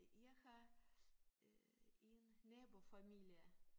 Jeg har øh en nabofamilie